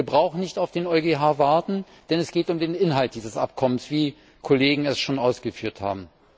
Wir brauchen nicht auf den EuGH zu warten, denn es geht um den Inhalt dieses Abkommens, wie Kollegen es schon ausgeführt haben.